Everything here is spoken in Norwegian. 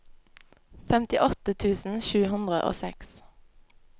femtiåtte tusen sju hundre og seks